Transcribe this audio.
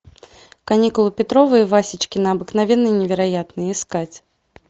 каникулы петрова и васечкина обыкновенные и невероятные искать